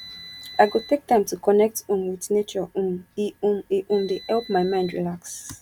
i go take time to connect um with nature um e um e um dey help my mind relax